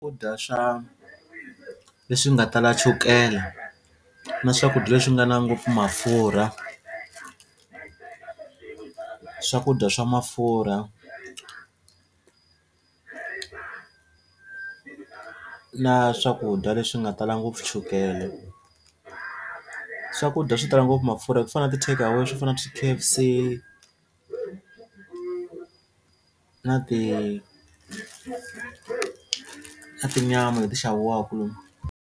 Swakudya swa leswi nga tala chukela na swakudya leswi nga na ngopfu mafurha swakudya swa mafurha na swakudya leswi nga tala ngopfu chukele swakudya swo tala ngopfu mafurha ku fana na ti-takeaway swo fana na swi ti-K_F_C na ti na tinyama leti xaviwaku.